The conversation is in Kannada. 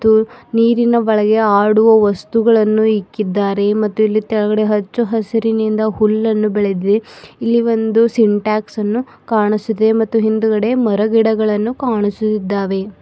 ಮತ್ತು ನೀರಿನ ಒಳಗೆ ಆಡುವ ವಸ್ತುಗಳನ್ನು ಇಕ್ಕಿದ್ದಾರೆ ಮತ್ತು ಇಲ್ಲಿ ತೆಳಗಡೆ ಹಚ್ಚು ಹಸಿರಿನಿಂದ ಹುಲ್ಲನ್ನು ಬೆಳೆದಿದೆ ಇಲ್ಲಿ ಒಂದು ಸಿನಟ್ಯಾಕ್ಸ್ ಅನ್ನು ಕಾಣಿಸಿದೆ ಮತ್ತು ಹಿಂದಗಡೆ ಮರಗಿಡಗಳನ್ನು ಕಾಣಿಸು ಇದ್ದಾವೆ.